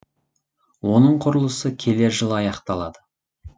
оның құрылысы келер жылы аяқталады